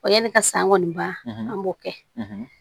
Ɔ yanni ka san ŋɔni ban an b'o kɛ